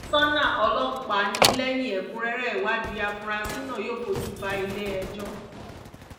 kọmísánná ọlọ́pàá ní lẹ́yìn ẹ̀kúnrẹ́rẹ́ ìwádìí afurasí náà yóò fojú bá ilé-ẹjọ́